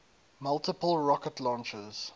multiple rocket launchers